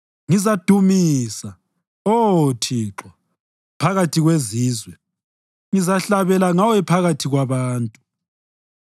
Ngizakudumisa, Oh Thixo, phakathi kwezizwe; ngizahlabela ngawe phakathi kwabantu.